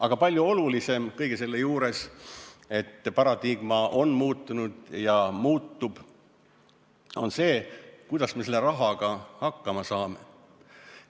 Aga palju olulisem kõige selle juures, et paradigma on muutunud ja muutub, on see, kuidas me selle rahaga hakkama saame.